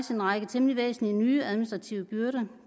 en række temmelig væsentlige nye administrative byrder